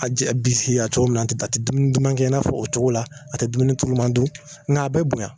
A biisikiya cogo min, a tɛ dumuni duman kɛ n'a fɔ o cogo la , a tɛ dumuni tuluman dun n' a bɛ bonya!